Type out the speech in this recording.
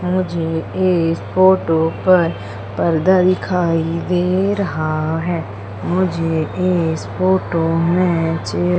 मुझे इस फोटो पर पर्दा दिखाई दे रहा है मुझे इस फोटो में चे--